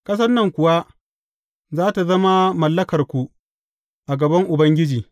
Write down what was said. Ƙasan nan kuwa za tă zama mallakarku a gaban Ubangiji.